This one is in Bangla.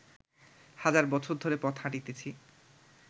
হাজার বছর ধরে পথ হাঁটিতেছি